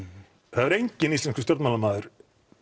það hefur enginn íslenskur stjórnmálamaður